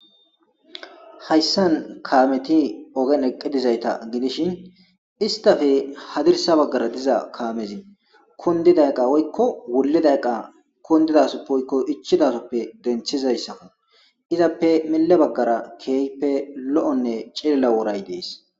hayssan kaameti ogen eqqidizayta gidishin istafe hadirsa baggara diza kaamezi kondidayqa woykko wulidayqa kondidasu poykko ichidasoppe denthizayssa izappe mille baggara keeype lo7onne cilla woray dees